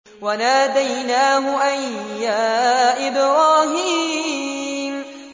وَنَادَيْنَاهُ أَن يَا إِبْرَاهِيمُ